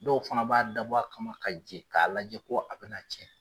Dɔw fana b'a dabɔ kama ka je k'a lajɛ ko a bɛna na cɛn.